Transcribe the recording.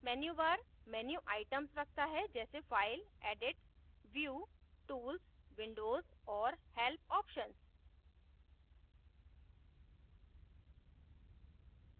menu bar menu items रखता है जैसे file edit view tools windows और help options